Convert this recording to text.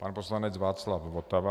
Pan poslanec Václav Votava.